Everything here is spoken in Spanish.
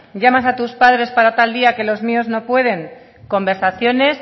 llamas a tus padres para tal día que los míos no pueden conversaciones